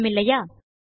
சுலபமில்லையா